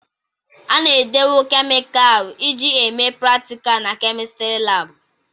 A na-edowe kemịkalụ eji eme pratika na kemịstri laabụ.